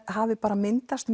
hafi myndast